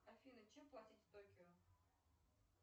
афина чем платить в токио